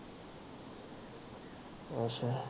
ਅੱਛਾ।